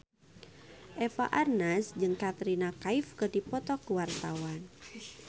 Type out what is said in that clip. Eva Arnaz jeung Katrina Kaif keur dipoto ku wartawan